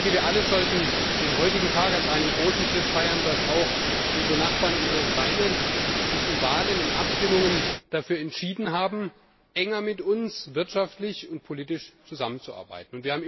Wir alle sollten den heutigen Tag als einen großen Schritt feiern, dass auch unsere Nachbarn in der Ukraine sich in Wahlen, in Abstimmungen dafür entschieden haben, wirtschaftlich und politisch enger mit uns zusammenzuarbeiten.